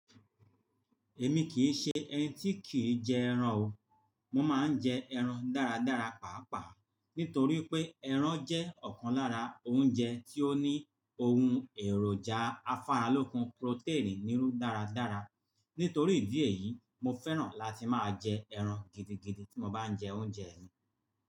Èmi kì í ṣe ẹni tí kì í jẹ ẹran o. Mo máa ń jẹ ẹran dáradára nítorí pé ẹran jẹ́ ọ̀kan lára oúnjẹ tí ó ní ohun èròjà afáralókun protein nínú dáradára. Nítorí ìdí èyí, mo fẹ́ràn láti máa jẹ ẹran gidigidi tí mo bá ń jẹ oúnjẹ mi.